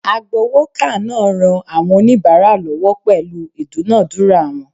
Agbowoka naa ran awon onibara lowo pelu idunadura won